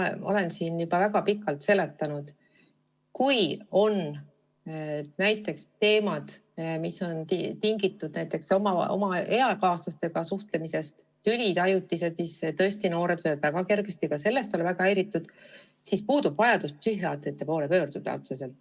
Küll aga olen ma siin juba väga pikalt seletanud, et kui on näiteks probleemid, mis on tingitud eakaaslastega suhtlemisest või tülidest – tõesti, noored võivad väga kergesti ka sellest olla väga häiritud –, siis puudub vajadus psühhiaatri poole pöörduda.